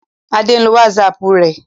Adé ń lo WhatsApp rẹ̀.